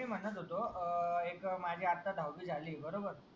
मी म्हणत होतो अह एक माझी आत्ता दहावी झाली. बरोबर